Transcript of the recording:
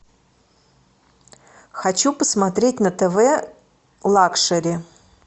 хочу посмотреть на тв лакшери